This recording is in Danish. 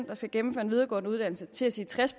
der skal gennemføre en videregående uddannelse til at sige tres